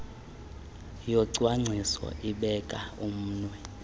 yocwangciso ibeka umnwe